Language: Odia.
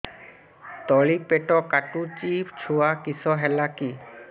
ତଳିପେଟ କାଟୁଚି ଛୁଆ କିଶ ହେଲା କି